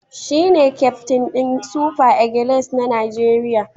Shi ne kyaftin ɗin Super Eagles na Najeriya